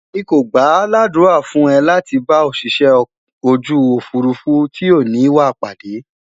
mí kò gbà l'adura fún e láti bá Òṣìṣẹ́ ojú òfurufú tí o ni wà pàdé